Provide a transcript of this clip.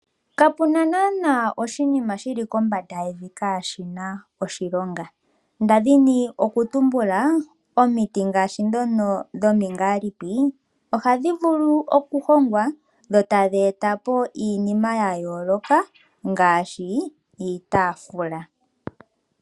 Kapuna nanaa oshinima shili kombanda yevi kaashina oshilonga. Omiti ngaashi ndhono dho mingaalipi, ohadhi vulu oku hongwa, dho tadhi etapo iinima ya yooloka ngaashi iitafula.